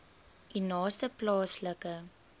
u naaste plaaslike